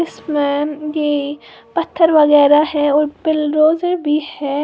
इसमें पत्थर वगैरह है और बिलडोजर भी है।